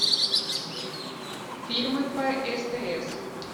фильмы по стс